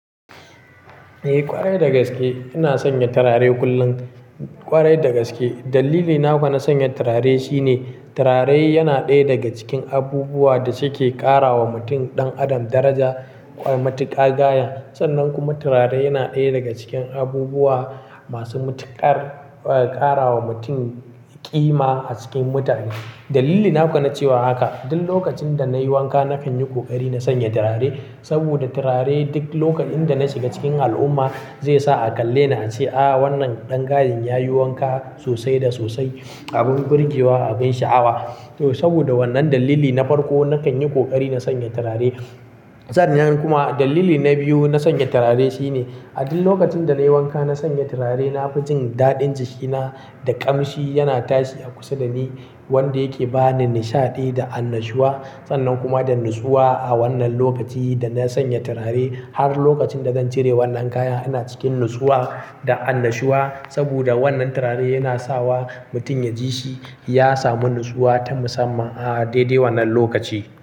Eh ƙwarai dagaske ina sanya turare kullum. Ƙwarai dagaske. Dalili na kuwa na sanya turare shine turare yana ɗaya daga cikin abubuwa da suke ƙara wa mutum ɗan adam daraja matuƙa gaya. Sannan kuma turare yana ɗaya daga cikin abubuwa masu matuƙar ƙara wa mutum ƙima a cikin mutane. Dalili na kuwa na cewa haka, duk lokacin da nayi wanka na kan yi ƙoƙari na sanya turare. Saboda turare duk lokacin da na shi ga cikin al'umma zai sa a kalle ni a ce "Aaa wannan ɗan gayen yayi wanka sosai da sosai" abin gurgewa abin sha'awa. To saboda wannan dalili na farko na kan yi ƙoƙari na sanya turare. Sannan kuma dalili na biyu na sanya turare shine a duk lokacin da nayi wanka na sanya turare na fi jin daɗin jikina da ƙamshi yana tashi a kusa da ni wanda yake bani nishaɗi da annashuwa. Sannan kuma da natsuwa a wannan lokaci da na sanya turare har lokacin da zan cire wannan kayan ina cikin natsuwa da annashuwa. Saboda wannan turare yana sawa mutum ya ji shi ya samu natsuwa ta musamman a daidai wannan lokaci.